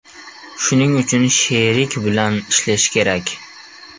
Shuning uchun sherik bilan ishlashi kerak.